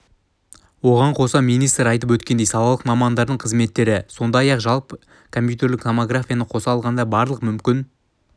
оған қоса министр айтып өткендей салалық мамандардың қызметтері сондай-ақ және компьютерлік томографияны қоса алғанда барлық мүмкін